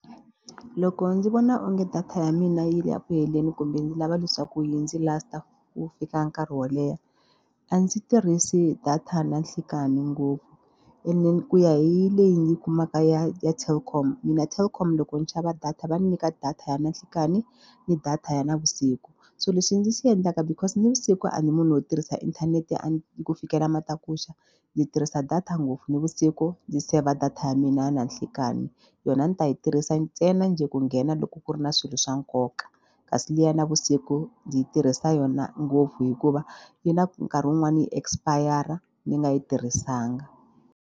Loko ndzi vona onge data ya mina yi le ku heleni kumbe ndzi lava leswaku yi ndzi last-a wu fika nkarhi wo leha a ndzi tirhisi data nanhlikani ngopfu ene ku ya hi leyi ndzi yi kumaka ya ya Telkom mina Telkom loko ndzi xava data va nyika data ya nanhlikani ni data ya navusiku so lexi ndzi xi endlaka because navusiku a ndzi munhu wo tirhisa inthanete a ni yi ku fikela matakuxa ni tirhisa data ngopfu nivusiku ndzi saver data ya mina na nhlikani yona ni u ta yi tirhisa ntsena njhe ku nghena loko ku ri na swilo swa nkoka kasi liya navusiku ndzi yi tirhisa yona ngopfu hikuva yi na nkarhi wun'wani yi expire ni nga yi tirhisanga.